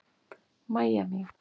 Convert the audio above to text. Mæja mín.